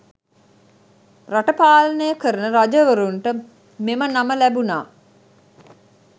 රට පාලනය කරන රජවරුන්ට මෙම නම ලැබුණා.